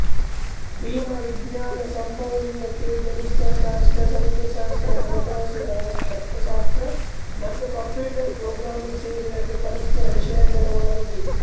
ವಿಮಾ ವಿಜ್ಞಾನ ಸಂಭವನೀಯತೆ ಗಣಿತಶಾಸ್ತ್ರ ಸಂಖ್ಯಾಶಾಸ್ತ್ರ ಹಣಕಾಸು ಅರ್ಥಶಾಸ್ತ್ರ ಮತ್ತು ಕಂಪ್ಯೂಟರ್ ಪ್ರೋಗ್ರಾಮಿಂಗ್ ಸೇರಿದಂತೆ ಪರಸ್ಪರ ವಿಷಯಗಳ ಒಳಗೊಂಡಿದೆ